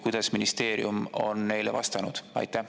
Kuidas ministeerium on neile vastanud?